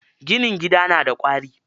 Ginin gida na da ƙwari.